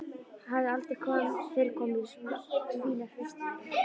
Hafði aldrei fyrr komið í svo fína vistarveru.